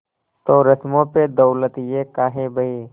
तो रस्मों पे दौलत ये काहे बहे